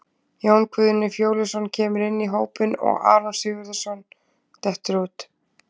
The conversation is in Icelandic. Jón Guðni Fjóluson kemur inn í hópinn og Aron Sigurðarson dettur út.